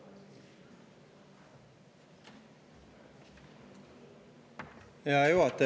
Hea juhataja!